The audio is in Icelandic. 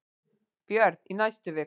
Björn: Í næstu viku?